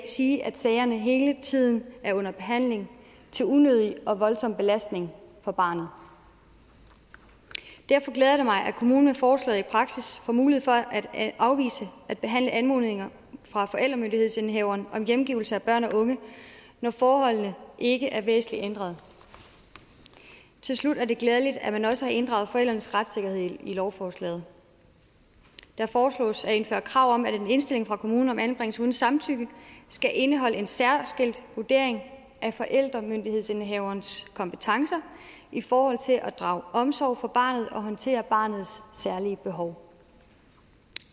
sige at sagerne hele tiden er under behandling til unødig og voldsom belastning for barnet derfor glæder det mig at kommunen med forslaget i praksis får mulighed for at afvise at behandle anmodninger fra forældremyndighedsindehaveren om hjemgivelse af børn og unge når forholdene ikke er væsentlig ændret til slut er det glædeligt at man også har inddraget forældrenes retssikkerhed i lovforslaget det foreslås at indføre krav om at en indstilling fra kommunen om anbringelse uden samtykke skal indeholde en særskilt vurdering af forældremyndighedsindehaverens kompetencer i forhold til at drage omsorg for barnet og håndtere barnets særlige behov